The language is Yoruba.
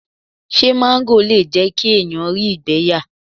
Ṣé máńgò le jẹ́ kí èèyàn rí ìgbẹ́ yà?